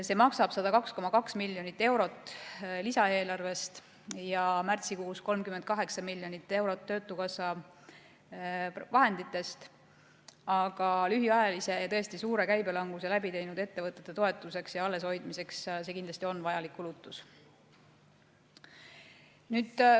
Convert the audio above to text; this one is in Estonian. See maksab 102,2 miljonit eurot lisaeelarvest ja märtsikuus 38 miljonit eurot töötukassa vahenditest, aga lühiajalise ja tõesti suure käibelanguse läbi teinud ettevõtete toetuseks ja alleshoidmiseks on see kindlasti vajalik kulutus.